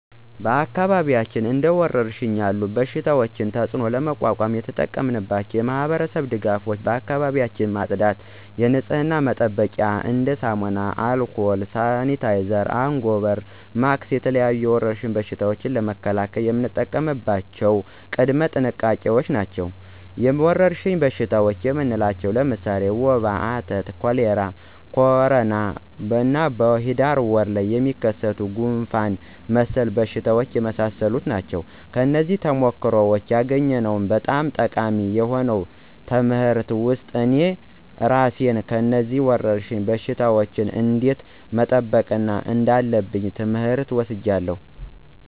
በአካባቢዎች እንደ ወረርሽኝ ያለ በሽታቸው ተፅእኖ ለመቋቋም የተጠቀምናቸው የማህበረሰብ ድጋፎች አካባቢዎችን በማፅዳት የንፅህና መጠበቂያ እንደ ሳሙና፣ አልኮል፣ ሳኒታይዘር፣ አንጎበር፣ ማክስ እና የተለያዩ የወረርሽኝ በሽታ ለመከላከል የምንጠቀምባቸው ቅድመ ጥንቃቄዎች ናቸው። ወረርሽኝ በሽታ የምንላቸው ለምሳሌ ወባ፣ አተት፣ ኮሌራ፣ ኮሮና፣ በሂዳር ወር የሚከሰት ጉንፍን መሰል በሽታዎች የመሳሰሉ ናቸው። ከነዚህም ተሞክሮዎች ያገኘሁት በጣም ጠቃሚ የሆኑ ትምህርት ውስጥ እኔ እራሴን ከነዚህ ወረርሽኝ በሽታወች እንዴት መጠበቅ እንዳለብኝ ትምህር ወስጃለሁ።